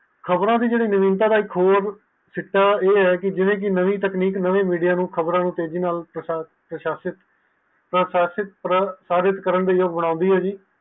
ਖ਼ਬਰਆ ਦੀ ਜੇਰੀ ਖੋਜ ਦਾ ਚਿੱਠਾ ਹੈ ਕਿ ਜਿਵੇ ਕਿ ਨਵੀ ਟੈਚਨਿਕ ਨਾਵੈ ਮੀਡਿਆ ਨੂੰ ਖ਼ਬਰ ਨਾਲ ਤੇਜ਼ੀ ਨਾਲ ਪ੍ਰਭਾਸ਼ਿਤ ਕਰਦੀ ਹੈ ਪ੍ਰਸ਼ਾਸਿਤ ਕਰਆ ਕਰਨ ਲਯੀ ਬੁਲੰਦੀ ਹੈ ਜੀ